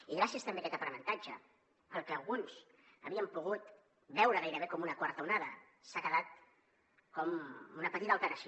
i gràcies també a aquest aprenentatge el que alguns havien pogut veure gairebé com una quarta onada s’ha quedat com una petita alteració